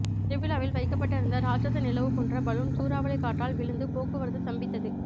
திருவிழாவில் வைக்கபட்டு இருந்த ராட்ஷச நிலவு போன்ற பலூன் சூறாவளி காற்றால் விழுந்து போக்குவரத்து சம்பித்தது